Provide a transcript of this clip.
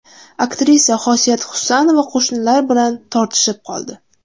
Aktrisa Xosiyat Husanova qo‘shnilari bilan tortishib qoldi.